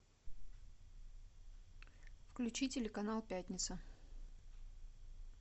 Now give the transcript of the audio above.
включи телеканал пятница